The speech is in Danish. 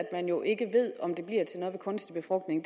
at man jo ikke ved om det ved kunstig befrugtning